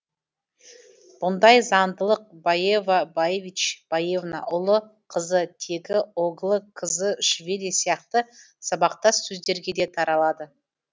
бұндай заңдылық баева баевич баевна ұлы қызы тегі оглы кызы швили сияқты сабақтас сөздерге де таралады